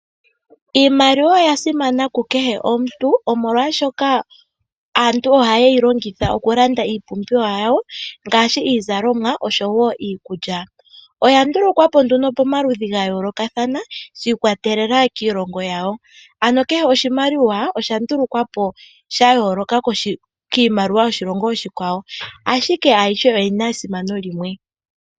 Iimaliwa oya simana ku kehe omuntu omolwashoka aantu ohaye yi landitha okulanda iipumbiwa yawo ngaashi iizalomwa oshowo iikulya, oya ndulukwapo nduno pomaludhi ga yoolokathana shiikwatelela kiilongo yawo ano kehe oshimaliwa osha ndulukwapo sha yooloka kiimaliwa yoshilongo oshikwawo ashike ayihe oyi na esimano limwe.